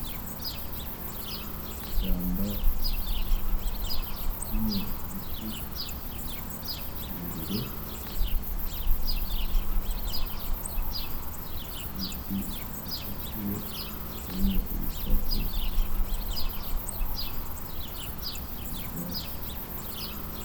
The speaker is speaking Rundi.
Ishamba rimwo ibiti irebire ibiti bisatuye harimwo ibisate n'ivyatsi.